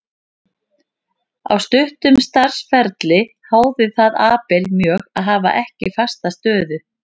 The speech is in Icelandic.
Á stuttum starfsferli háði það Abel mjög að hafa ekki fasta stöðu.